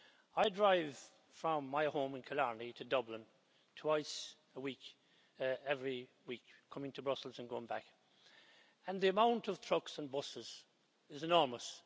I drive from my home in Killarney to Dublin twice a week every week, coming to Brussels and going back, and the amount of trucks and buses is enormous.